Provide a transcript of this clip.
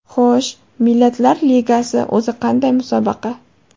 Xo‘sh, Millatlar Ligasi o‘zi qanday musobaqa?